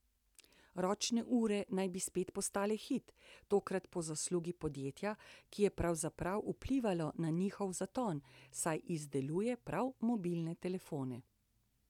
Ročne ure naj bi spet postale hit, tokrat po zaslugi podjetja, ki je pravzaprav vplivalo na njihov zaton, saj izdeluje prav mobilne telefone.